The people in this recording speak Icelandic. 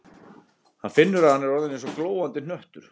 Hann finnur að hann er orðinn eins og glóandi hnöttur.